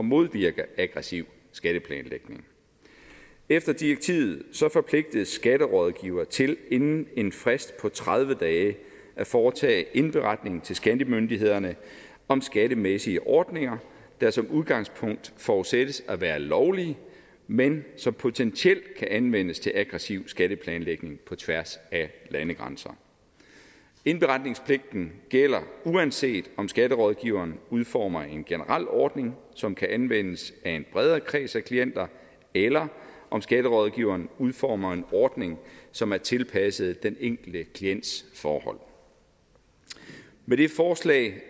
modvirke aggressiv skatteplanlægning efter direktivet forpligtes skatterådgivere til inden en frist på tredive dage at foretage indberetning til skattemyndighederne om skattemæssige ordninger der som udgangspunkt forudsættes at være lovlige men som potentielt kan anvendes til aggressiv skatteplanlægning på tværs af landegrænser indberetningspligten gælder uanset om skatterådgiveren udformer en generel ordning som kan anvendes af en bredere kreds af klienter eller om skatterådgiveren udformer en ordning som er tilpasset den enkelte klients forhold med det forslag